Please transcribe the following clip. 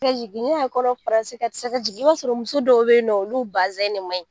i b'a sɔrɔ muso dɔw bɛ yen olu de man ɲi